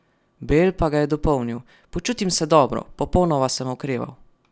Bale pa ga je dopolnil: "Počutim se dobro, popolnoma sem okreval.